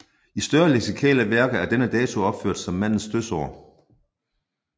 I større leksikalske værker er denne dato opført som mandens dødsår